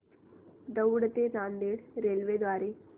दौंड ते नांदेड रेल्वे द्वारे